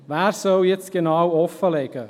Wer soll jetzt genau offenlegen?